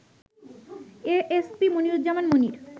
A S P Moniruzzaman Monir